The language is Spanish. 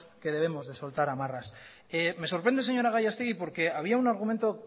que debemos de soltar amarras me sorprende señora gallastegui porque había un argumento